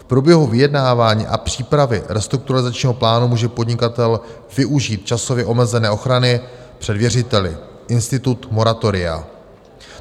V průběhu vyjednávání a přípravy restrukturalizačního plánu může podnikatel využít časově omezené ochrany před věřiteli - institut moratoria.